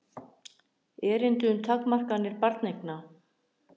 erindi um takmarkanir barneigna